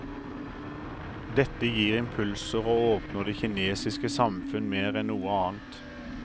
Dette gir impulser og åpner det kinesiske samfunn mer enn noe annet.